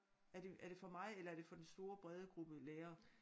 Er det er det for mig eller er det for den store brede gruppe lærere